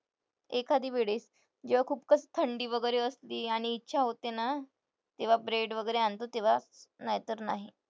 एखादी वेळीस जेव्हा खूपच थंडी वगैरे असली आणि इच्छा होते ना तेव्हा bread वगैरे आणतो तेव्हा नाही तर नाही.